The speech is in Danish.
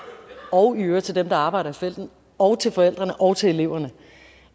og i øvrigt til dem der arbejder i felten og til forældrene og til eleverne